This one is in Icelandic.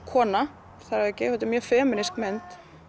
kona þar að auki þetta er mjög femínísk mynd